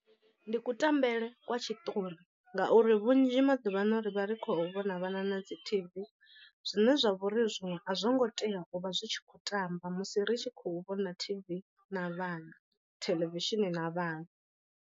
Ndi kutambele kwa tshiṱori ngauri vhunzhi maḓuvha ano ri vha ri khou vhona vhana na dzi T_V zwine zwa vhori zwiṅwe a zwi ngo tea u vha zwi tshi khou tamba musi ri tshi khou vhona T_V na vhana theḽevishini na vhana.